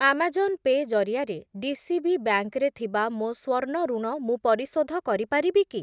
Amazon Pay' ଜରିଆରେ DCB bank ରେ ଥିବା ମୋ ସ୍ଵର୍ଣ୍ଣ ଋଣ ମୁଁ ପରିଶୋଧ କରିପାରିବି କି?